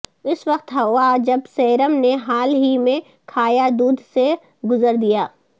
اس وقت ہوا جب سیرم نے حال ہی میں کھایا دودھ سے گزر دیا